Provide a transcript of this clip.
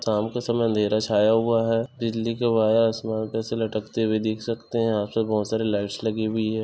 शाम के समय अंधेर छाया हुआ है बिजली के वायर आसमान पे से लटकते हुए देख सकते है यहाँ पर बहुत सारे लाइट्स लगी हुई है।